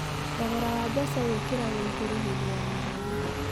Thogora wa mboco wĩkĩragwo igũrũ hindi ya ng’aragu.